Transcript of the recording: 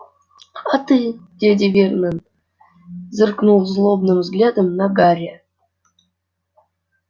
а ты дядя вернон зыркнул злобным взглядом на гарри